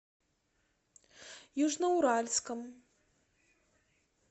южноуральском